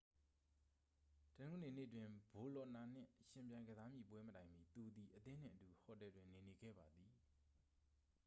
တနင်္ဂနွေနေ့တွင် ဘိုလော့နာနှင့်ယှဉ်ပြိုင် ကစားမည့်ပွဲမတိုင်မီ သူသည် အသင်းနှင့်အတူ ဟိုတယ်တွင်နေနေခဲ့ပါသည်